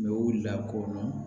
Mɛ u lakodɔn